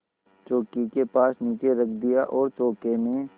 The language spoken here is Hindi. चौकी के पास नीचे रख दिया और चौके में